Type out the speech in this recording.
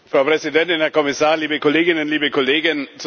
Frau Präsidentin, Herr Kommissar, liebe Kolleginnen, liebe Kollegen!